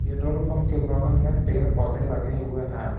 Petrol pump के बगल में पेड़ पौधे लगे हुए हैं।